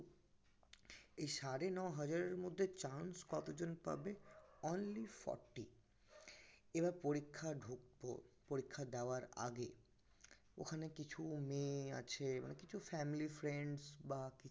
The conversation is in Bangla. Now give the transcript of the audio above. এই সাড়ে ন হাজারের মধ্যে chance কতজন পাবে only forty এবার পরীক্ষা ধক ও পরীক্ষা দেওয়ার আগে ওখানে কিছু মেয়ে আছে মানে কিছু family friends বা